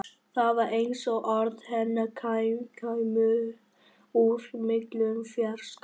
Það var eins og orð hennar kæmu úr miklum fjarska.